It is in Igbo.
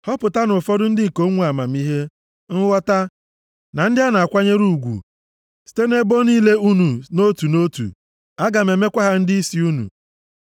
Họpụtanụ ụfọdụ ndị ikom nwe amamihe, nghọta, na ndị a na-akwanyere ụgwụ, site nʼebo niile unu nʼotu nʼotu, aga m emekwa ha ndịisi unu.”